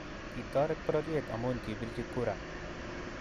Kitoret pororyet amun kipirchi kura